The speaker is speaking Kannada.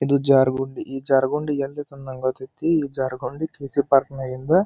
ಇದು ಜಾರು ಗೊಂಡಿ ಈ ಜಾರು ಗೊಂಡಿ ಎಲ್ಲಿ ಐತಿ ಎಂದು ನಂಗ ಗೊತ್ತೈತಿ ಈ ಜರ್ಗನ್ಡಿ ಕೀವ್.ಸಿ ಪಾರ್ಕ್ ನಗಿಂದು.